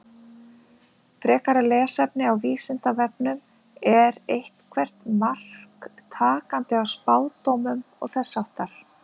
Frekara lesefni á Vísindavefnum Er eitthvert mark takandi á spádómum og þess háttar?